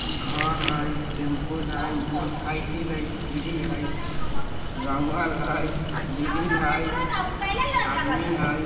घर हई टैम्पू हई मोटर साइकिल हई सीढ़ी हई रंगल हई ग्रिल हई आदमी हई।